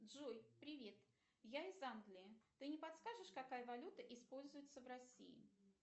джой привет я из англии ты не подскажешь какая валюта используется в россии